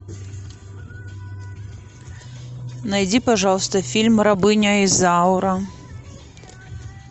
найди пожалуйста фильм рабыня изаура